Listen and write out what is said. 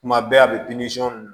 Kuma bɛɛ a bɛ